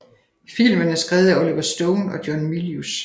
Filmen er skrevet af Oliver Stone og John Milius